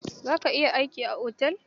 Za ka iya aiki a otel?